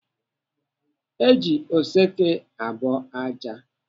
Eji oseke abọ ájá.